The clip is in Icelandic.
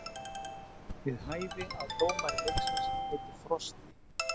Við hæfi að dómari leiksins heitir Frosti.